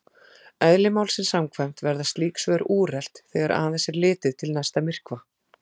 Eðli málsins samkvæmt verða slík svör úrelt þegar aðeins er litið til næsta myrkva.